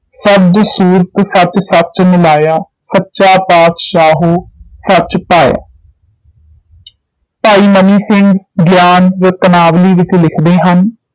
ਸਚਾ ਪਾਤਿਸਾਹੁ ਸਚੁ ਭਾਇਆ ਭਾਈ ਮਨੀ ਸਿੰਘ ਗ੍ਯਾਨ ਰਤਨਾਵਲੀ ਵਿਚ ਲਿਖਦੇ ਹਨ